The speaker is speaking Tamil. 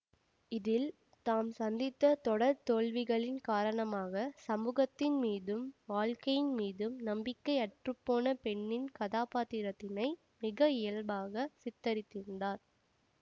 இதில் தாம் சந்தித்த தொடர் தோல்விகளின் காரணமாக சமூகத்தின் மீதும் வாழ்க்கையின் மீதும் நம்பிக்கை அற்றுப்போன பெண்ணின் கதாபாத்திரத்தினை மிக இயல்பாக சித்தரித்துள்ளார்